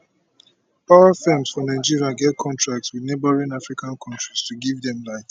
power firms for nigeria get contracts wit neighbouring african kontris to give dem light